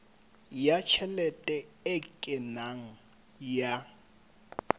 ya tjhelete e kenang ya